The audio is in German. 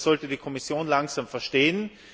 Das sollte die Kommission langsam verstehen.